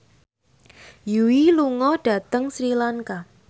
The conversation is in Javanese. Yui lunga dhateng Sri Lanka